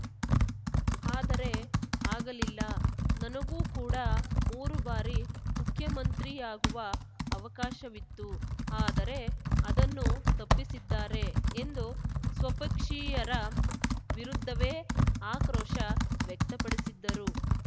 ಆದರೆ ಆಗಲಿಲ್ಲ ನನಗೂ ಕೂಡ ಮೂರು ಬಾರಿ ಮುಖ್ಯಮಂತ್ರಿಯಾಗುವ ಅವಕಾಶವಿತ್ತು ಆದರೆ ಅದನ್ನು ತಪ್ಪಿಸಿದ್ದಾರೆ ಎಂದು ಸ್ವಪಕ್ಷೀಯರ ವಿರುದ್ಧವೇ ಆಕ್ರೋಶ ವ್ಯಕ್ತಪಡಿಸಿದ್ದರು